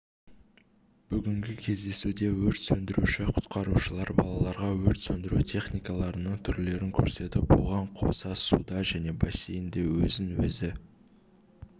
бүгінгі кездесуде өрт сөндіруші-құтқарушылар балаларға өрт сөндіру техникаларының түрлерін көрсетіп оған қоса суда және бассейнде өзін-өзі